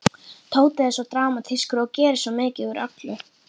Tóti er svo dramatískur og gerir svo mikið úr öllu.